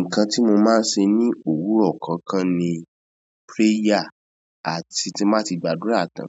Ǹkan tí mo máa ń ṣe ni òwúrọ̀ kankan ni prayer àti ti n bá ti gbàdúrà tán,